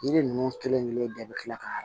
Yiri ninnu kelen kelen bɛɛ bɛ tila ka